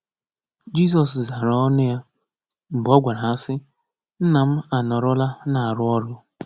Jizọs zaara ọnụ ya mgbe ọ gwara ha sị: “Nna m anọrọla na-arụ ọrụ”